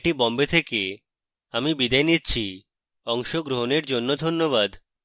I I T Bombay থেকে আমি বিদায় নিচ্ছি অংশগ্রহনের জন্যে ধন্যবাদ